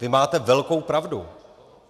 Vy máte velkou pravdu.